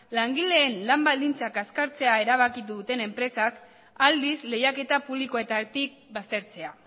langileen lan baldintzak azkartzea erabaki duten enpresak aldiz lehiaketa publikoetatik baztertzea